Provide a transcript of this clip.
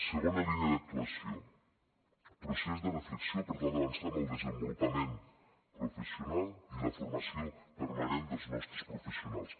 segona línia d’actuació procés de reflexió per tal d’avançar en el desenvolupament professional i la formació permanent dels nostres professionals